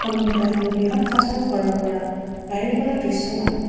সন্মুখত এখন বৃহৎ কাঁচৰ ঘৰৰ পৰা বহিৰফালৰ দৃশ্যমান--